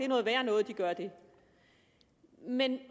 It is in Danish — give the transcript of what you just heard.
noget værre noget at de gør det men